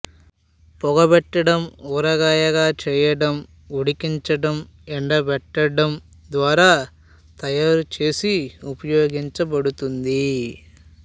పొగబెట్టడం ఊరగాయగా చేయడం ఉడికించడం ఎండబెట్టడం ద్వారా తయారుచేసి ఉపయోగించబడుతుంది